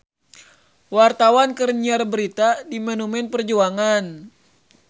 Wartawan keur nyiar berita di Monumen Perjuangan